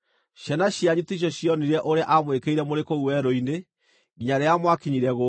Ciana cianyu ticio cionire ũrĩa aamwĩkĩire mũrĩ kũu werũ-inĩ, nginya rĩrĩa mwakinyire gũkũ;